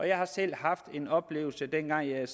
jeg har selv haft en oplevelse dengang jeg